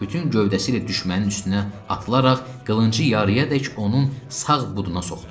Bütün gövdəsi ilə düşmənin üstünə atılaraq qılıncı yarıyadək onun sağ buduna soxdu.